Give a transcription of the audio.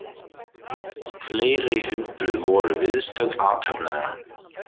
Fleiri hundruð voru viðstödd athöfnina